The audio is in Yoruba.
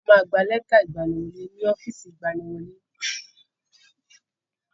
A ma gba lẹ́tà ìgbaniwọlé ni ọ́fìsì ìgbaniwọlé.